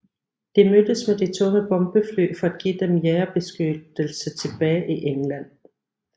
De mødtes med de tunge bombefly for at give dem jagerbeskyttelse tilbage til England